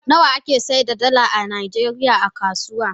Nawa ake seda dala a najeriya a kasuwa?